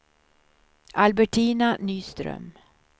Albertina Nyström